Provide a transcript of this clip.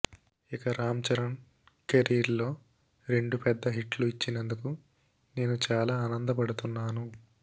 ఇక రామ్ చరణ్ కెరీర్ లో రెండు పెద్ద హిట్లు ఇచ్చినందుకు నేను చాలా ఆనంద పడుతున్నాను